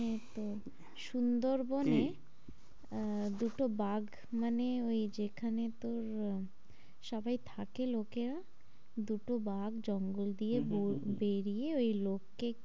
এখানে তো সুন্দর বনে কি? আহ দুটো বাঘ মানে ওই যেখানে তোর আহ সবাই থাকে লোকরা দুটো বাঘ জঙ্গল দিয়ে হম হম ওই লোককে